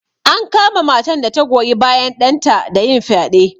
An kama matan da ta goyi bayan ɗanta da yin fyaɗe.